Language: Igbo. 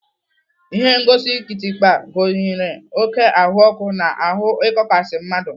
Ihengosi kịtịkpa gụnyere oké ahụọkụ na ahụ ịkọkasi mmadụ.